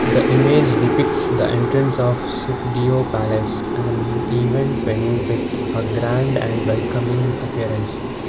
the image depicts the entrance of sukhdeo palace and event venue with a grand and welcoming appearance.